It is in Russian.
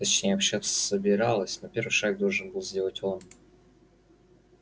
точнее общаться собиралась но первый шаг должен был сделать он